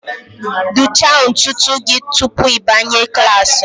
dụchaa ntutu gị tupu ị banye klas m